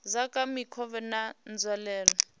dza kha mikovhe na nzwalelo